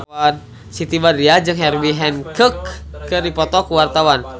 Siti Badriah jeung Herbie Hancock keur dipoto ku wartawan